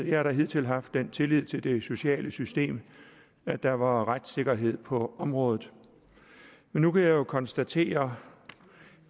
jeg hidtil har haft den tillid til det sociale system at der var retssikkerhed på området men nu kan jeg jo konstatere